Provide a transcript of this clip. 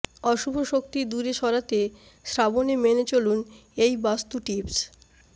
অশুভ শক্তি দূরে সরাতে শ্রাবণে মেনে চলুন এই বাস্তু টিপস